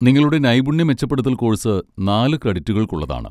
നിങ്ങളുടെ നൈപുണ്യ മെച്ചപ്പെടുത്തൽ കോഴ്സ് നാല് ക്രെഡിറ്റുകൾക്കുള്ളതാണ്.